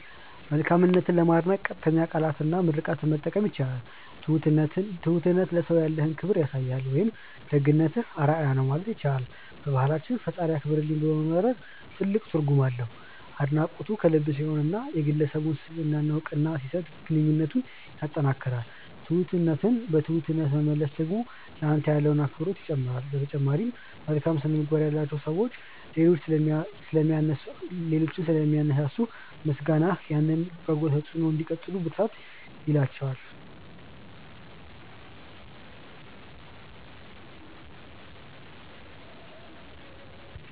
መልካምነትን ለማድነቅ ቀጥተኛ ቃላትና ምርቃትን መጠቀም ይቻላል። "ትሁትነትህ ለሰው ያለህን ክብር ያሳያል" ወይም "ደግነትህ አርአያ ነው" ማለት ይቻላል። በባህላችን "ፈጣሪ ያክብርልኝ" ብሎ መመርቅ ትልቅ ትርጉም አለው። አድናቆቱ ከልብ ሲሆንና የግለሰቡን ስብዕና እውቅና ሲሰጥ ግንኙነትን ያጠናክራል። ትሁትነትን በትሁትነት መመለስ ደግሞ ለአንተ ያለውን አክብሮት ይጨምራል። በተጨማሪም፣ መልካም ስነ-ምግባር ያላቸው ሰዎች ሌሎችን ስለሚያነሳሱ፣ ምስጋናህ ያንን በጎ ተጽዕኖ እንዲቀጥሉ ብርታት ይላቸዋል።